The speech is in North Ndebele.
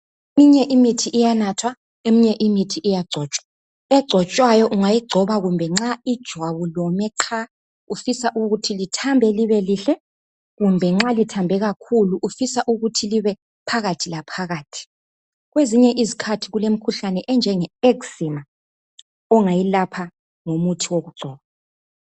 Eminye imithi iyanathwa, eminye imithi iyagcotshwa. Egcotshwayo, ungayigcoba kumbe nxa ijwabu lome qha ufisa ukuthi lithambe libe lihle kumbe nxa lithambe kakhulu ufisa ukuthi libe phakathi la phakathi. Kwezinye izikhathi kulemkhuhlanye enjenge eczema, ongayilapha ngomuthi wokugcoba.